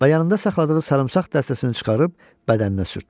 Və yanında saxladığı sarımsaq dəstəsini çıxarıb bədəninə sürtdü.